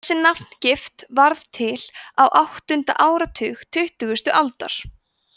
þessi nafngift varð til á áttunda áratug tuttugustu aldar